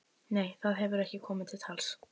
Nei, það hefur ekki komið til tals.